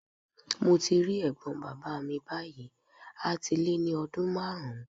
Mo ti rí ẹ̀gbọ́n bàbá mi báyìí a ti lé ní ọdún márùn-ún.